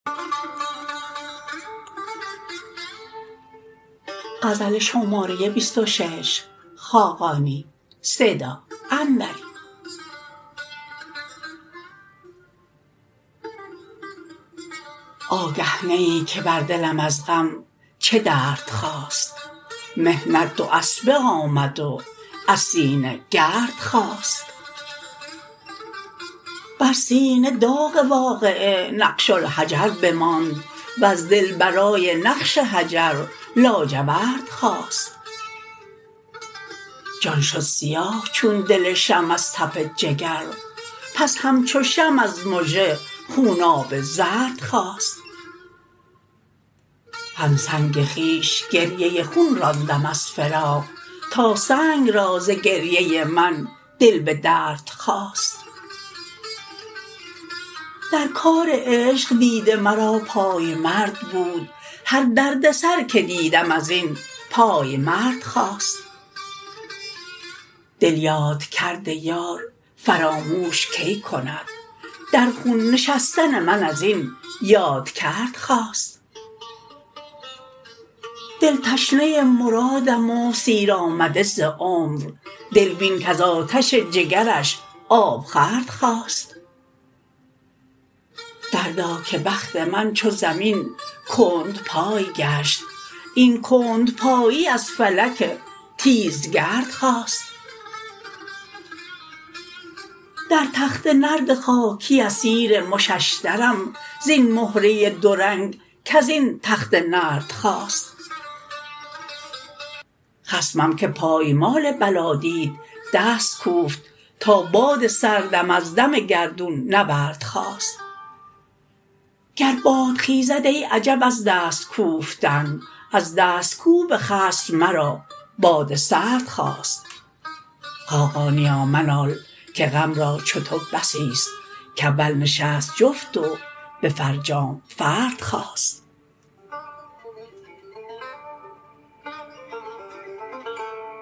آگه نه ای که بر دلم از غم چه درد خاست محنت دواسبه آمد و از سینه گرد خاست بر سینه داغ واقعه نقش الحجر بماند وز دل برای نقش حجر لاجورد خاست جان شد سیاه چون دل شمع از تف جگر پس همچو شمع از مژه خوناب زرد خاست همسنگ خویش گریه خون راندم از فراق تا سنگ را ز گریه من دل به درد خاست در کار عشق دیده مرا پایمرد بود هر دردسر که دیدم ازین پایمرد خاست دل یادکرد یار فراموش کی کند در خون نشستن من ازین یادکرد خاست دل تشنه مرادم و سیر آمده ز عمر دل بین کز آتش جگرش آبخورد خاست دردا که بخت من چو زمین کندپای گشت این کندپایی از فلک تیزگرد خاست در تخت نرد خاکی اسیر مششدرم زین مهره دو رنگ کز این تخته نرد خاست خصمم که پایمال بلا دید دست کوفت تا باد سردم از دم گردون نورد خاست گر باد خیزد ای عجب از دست کوفتن از دست کوب خصم مرا باد سرد خاست خاقانیا منال که غم را چو تو بسی است که اول نشست جفت و به فرجام فرد خاست